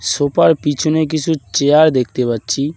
ছোফার -র পিছনে কিছু চেয়ার দেখতে পাচ্ছি।